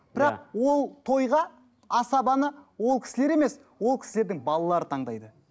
бірақ ол тойға асабаны ол кісілер емес ол кісілердің балалары таңдайды